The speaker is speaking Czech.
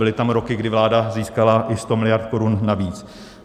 Byly tam roky, kdy vláda získala i 100 miliard korun navíc.